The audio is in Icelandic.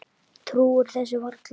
Trúir þessu varla.